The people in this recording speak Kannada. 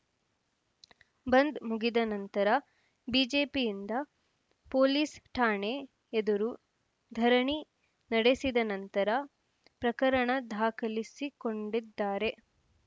ಬಂದ್‌ ಮುಗಿದ ನಂತರ ಬಿಜೆಪಿಯಿಂದ ಪೊಲೀಸ್‌ ಠಾಣೆ ಎದುರು ಧರಣಿ ನಡೆಸಿದ ನಂತರ ಪ್ರಕರಣ ದಾಖಲಿಸಿಕೊಂಡಿದ್ದಾರೆ